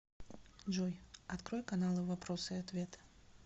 джой открой каналы вопросы и ответы